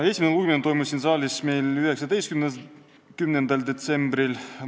Esimene lugemine toimus siin saalis 19. detsembril.